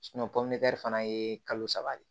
fana ye kalo saba de ye